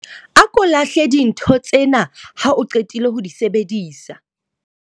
A ko lahle dintho tsena ha o qetile ho di sebedisa.